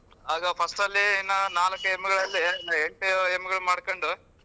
ಆಗ first ಅಲ್ಲಿ ಇನ್ನ ನಾಲ್ಕ್ ಎಮ್ಮೆಗಳಲ್ಲಿ ಎಂಟು ಎಮ್ಮೆಗಳ್ ಮಾಡ್ಕೊಂಡು.